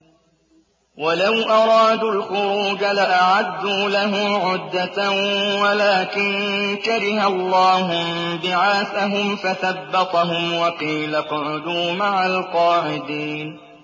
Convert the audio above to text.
۞ وَلَوْ أَرَادُوا الْخُرُوجَ لَأَعَدُّوا لَهُ عُدَّةً وَلَٰكِن كَرِهَ اللَّهُ انبِعَاثَهُمْ فَثَبَّطَهُمْ وَقِيلَ اقْعُدُوا مَعَ الْقَاعِدِينَ